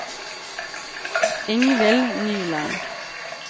Ingvill Nyland